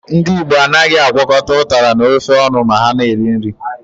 Ndị Igbo anaghị agwọkọta ụtara na ofe ọnụ ma ha na-eri nri.